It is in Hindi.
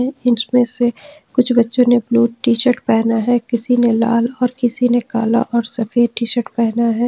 इसमें से कुछ बच्चों ने अपनी टी शर्ट पहना है किसी ने लाल और किसी ने काला और सफेद टी शर्ट पहना है।